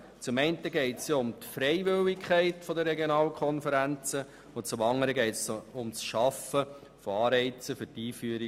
Zum einen geht es um die Freiwilligkeit der Regionalkonferenzen, zum anderen um die Schaffung von Anreizen zu deren Einführung.